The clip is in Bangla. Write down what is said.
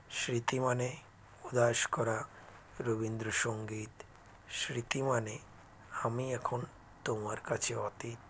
স্মৃতি মানে উদাস করা রবীন্দ্র সঙ্গীত স্মৃতি মানে আমি এখন তোমার কাছে অতীত